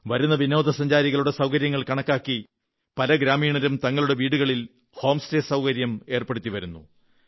വരുന്ന വിനോദസഞ്ചാരികളുടെ സൌകര്യങ്ങൾ കണക്കാക്കി പല ഗ്രാമീണരും തങ്ങളുടെ വീടുകളിൽ ഹോം സ്റ്റേ സൌകര്യം ഏർപ്പെടുത്തി വരുന്നു